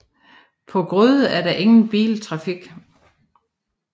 På Grøde er der ingen biltrafik